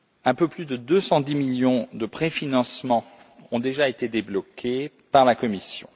Un peu plus de 210 millions à titre de préfinancement ont déjà été débloqués par la Commission.